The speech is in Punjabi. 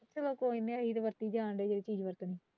ਚੱਲੋ ਕੋਈ ਨਹੀਂ ਅਸੀਂ ਤੇ ਵਰਤੀ ਜਾਣ ਡਇ ਏ ਤੁਸੀ ਨਹੀਂ ਵਰਤਣੀ।